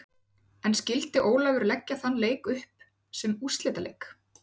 En skyldi Ólafur leggja þann leik upp sem úrslitaleik?